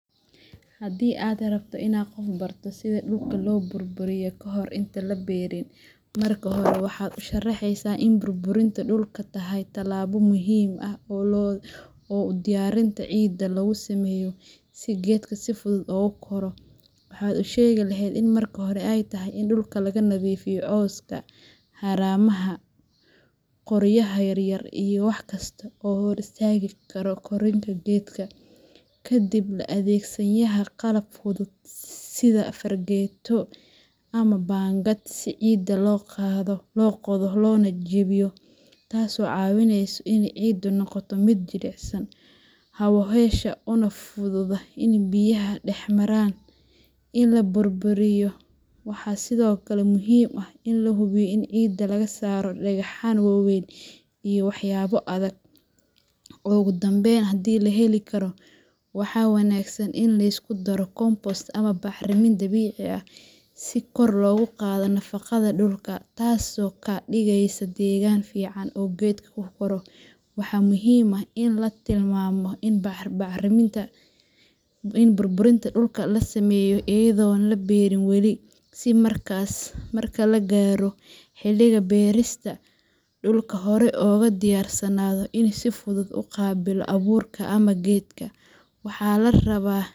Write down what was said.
Haddii aad rabto inaad qof barto sida dhulka loo burburiyo kahor inta aan la beerin, marka hore waxaad u sharaxaysaa in burburinta dhulku tahay tallaabo muhiim ah oo diyaarinta ciidda loogu sameeyo si geedka si fudud ugu koro. Waxaad u sheegi lahayd in marka hore ay tahay in dhulka laga nadiifiyo cawska, haramaha, qoryaha yaryar iyo wax kasta oo hor istaagi kara koritaanka geedka. Kadib, la adeegsanayaa qalab fudud sida fargeeto fork ama baangad si ciidda loo qodo loona jebiyo, taasoo caawineysa in ciiddu noqoto mid jilicsan, hawo hesha, una fududaata inay biyuhu dhex maraan. Inta la burburinayo, waxaa sidoo kale muhiim ah in la hubiyo in ciidda laga saaro dhagxaan waaweyn iyo waxyaabo adag. Ugu dambeyn, haddii la heli karo, waxaa wanaagsan in la isku daro compost ama bacrin dabiici ah si kor loogu qaado nafaqada dhulka, taasoo ka dhigaysa deegaan fiican oo geedku ku koro. Waxaa muhiim ah in la tilmaamo in burburinta dhulka la sameeyo iyadoo aan la beerin weli, si markaas marka la gaaro xilligii beerista, dhulku horey ugu diyaarsanaado inuu si fudud u qaabilo abuurka ama geedka waxa larabaa.